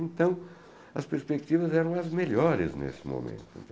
Então, as perspectivas eram as melhores nesse momento.